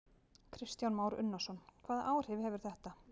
Kristján Már Unnarsson: Hvaða áhrif hefur þetta?